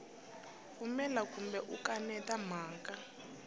pfumela kumbe u kaneta mhaka